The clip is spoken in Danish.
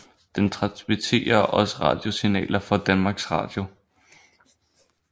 Den transmitterer også radiosignaler fra Danmarks Radio